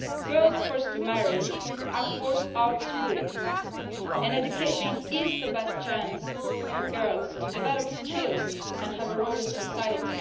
Girls forced to marry are forced out of school, and education offers the best chance for girls to develop skills and have a role in society.